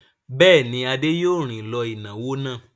Bẹ́ẹ̀ ni, Adé yóò rìn lọ ìnáwó náà.